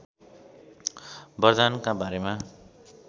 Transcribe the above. बरदानका बारेमा